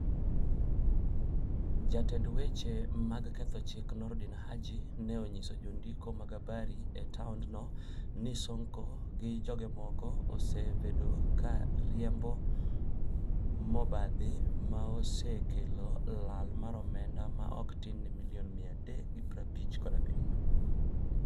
jatend weche mag ketho chik Noordin Haji ne onyiso jondiko mag habari e toandno ni Sonko gi joge moko osevedo ka riembo mobadhi ma neosekelo lal mar omenda ma ok tin ni milion 357